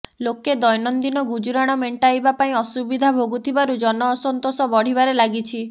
ଲୋକେ ଦୈନନ୍ଦିନ ଗୁଜରାଣ ମେଂଟାଇବା ପାଇଁ ଅସୁବିଧା ଭୋଗୁଥିବାରୁ ଜନ ଅସନ୍ତୋଷ ବଢିବାରେ ଲାଗିଛି